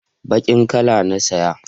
bakin kala na saya